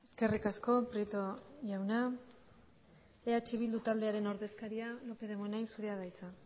eskerrik asko prieto jauna eh bildu taldearen ordezkaria lópez de munain zurea da hitza